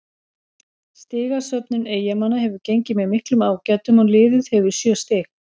Stigasöfnun Eyjamanna hefur gengið með miklum ágætum og liðið hefur sjö stig.